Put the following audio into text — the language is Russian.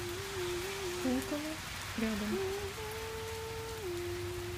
пулково рядом